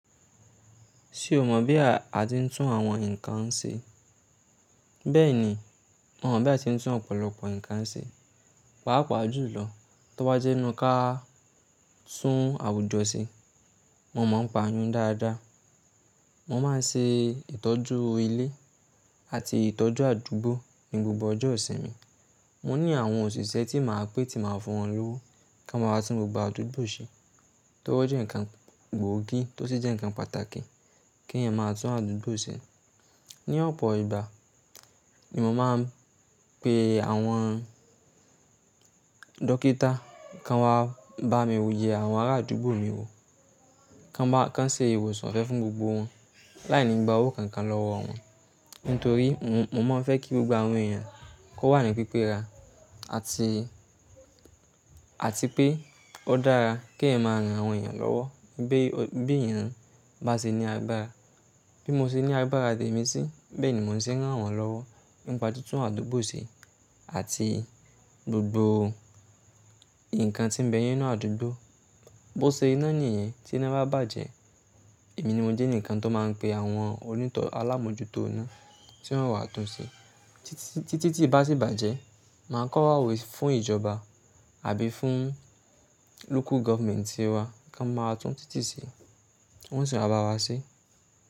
Ṣé o mọ̀ bí a ati ń tún àwọn nǹkan ṣe? Bẹ́ẹ̀ ni, mo mọ̀ bí a ti ń tún ọ̀pọ̀lọpọ̀ nǹkan ṣe. Pàápàá jùlọ, tó bá jẹ́ inú ká tún àwùjọ ṣe, mo máa ń pa nyún dáadáa. Mo máa ń ṣe ìtọ́jú ilé àti ìtọ́jú àdúgbò ní gbogbo ọjọ́ ìṣinmi. Mo ní àwọn òṣìṣẹ́ tí màá pé tí màá fún wọn lówó kọ́ n máa wá tún gbogbo àdúgbò ṣe. Tó bá jẹ́ nǹkan gbóògì tó sì jẹ́ nǹkan pàtàkì kí èèyàn máa tún àdúgbò ṣe. Ni ọ̀pọ̀ ìgbà, ni mo máa ń pe àwọn dókítà kọ́ n wá bá mi wò yẹ àwọn ará àdúgbò mi wò, ko ba, ko n ṣe ìwòsàn ofẹ́ fún gbogbo wọn láì ní gba owó kankan lọ́wọ́ wọn. Ntorí mo mo máa ń fẹ́ kí gbogbo àwọn èèyàn kó wà ní pípe ra ati àti pé ó dára kí èèyàn máa ràn àwọn èèyàn lọ́wọ́ be o, bi eeyàn bá ṣe ní agbára. Bí mo ṣe ní agbára tèmi sí, bẹ́ẹ̀ ni mo sì ń ràn wọ́n lọ́wọ́ npa títún àdúgbò ṣe àti gbogbo nǹkan tí ń bẹ yen nú àdúgbò. Bo se iná nìyẹn tí iná bá bàjẹ́, èmi ni mo jẹ́ eǹikan tó máa ń pe àwọn oní ìtọ́ alámòjútó iná tí wọ́n wá tún ṣe. Titi Tí tìtí bá sì bàjẹ́, màá kọ̀wa we fún ìjọba àbí fún local government tí wá ko n máa tún títì ṣe. Wọ́n sì máa bá wa ṣe.